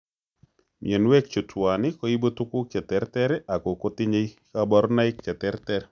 Myonwek chu tuwan koibu tuguk cheterter ako kotinye kaborunoik cheterter